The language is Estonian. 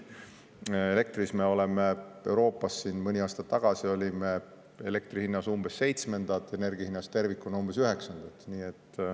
Eesti oli mõni aasta tagasi Euroopas elektri hinna poolest umbes seitsmes, energia hinna poolest tervikuna umbes üheksas.